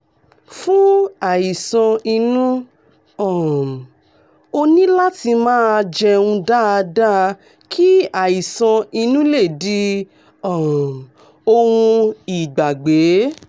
fún àìsàn inú um ó ní láti máa jẹun dáadáa kí àìsàn inú lè di um ohun ìgbàgbé